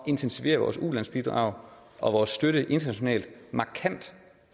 intensivere vores ulandsbidrag og vores støtte internationalt markant